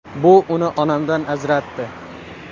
Bu uni onamdan ajratdi.